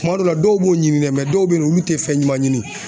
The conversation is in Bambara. Kuma dɔw la dɔw b'u ɲini dɛ dɔw bɛ yen nɔ olu tɛ fɛn ɲuman ɲini